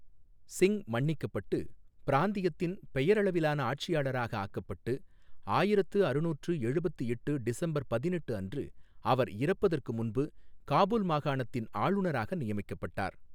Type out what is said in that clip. சிங் மன்னிக்கப்பட்டு பிராந்தியத்தின் பெயரளவிலான ஆட்சியாளராக ஆக்கப்பட்டு ஆயிரத்து அறுநூற்று எழுபத்து எட்டு டிசம்பர் பதினெட்டு அன்று அவர் இறப்பதற்கு முன்பு காபூல் மாகாணத்தின் ஆளுநராக நியமிக்கப்பட்டார்.